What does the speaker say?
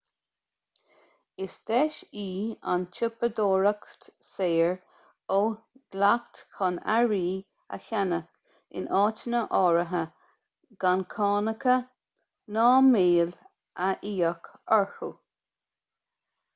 is deis í an tsiopadóireacht saor ó dhleacht chun earraí a cheannach in áiteanna áirithe gan cánacha ná máil a íoc orthu